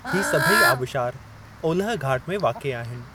ही सभई आबशार ओलह घाट में वाक़िए आहिनि।